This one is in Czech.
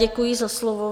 Děkuji za slovo.